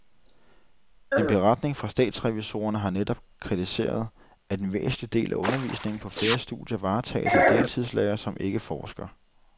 En beretning fra statsrevisorerne har netop kritiseret, at en væsentlig del af undervisningen på flere studier varetages af deltidslærere, som ikke forsker.